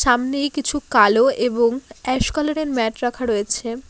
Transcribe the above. সামনেই কিছু কালো এবং অ্যাশ কালার -এর ম্যাট রাখা রয়েছে।